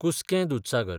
कुसकें दूदसागर